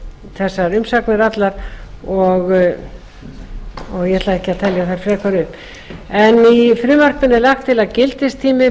þessar umsagnir allar og ég ætla ekki að telja þær frekar upp í frumvarpinu er lagt til að gildistími